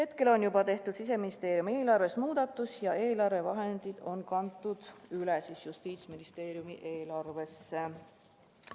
Praegu on juba tehtud Siseministeeriumi eelarves vajalik muudatus ja eelarvevahendid on kantud üle Justiitsministeeriumi eelarvesse.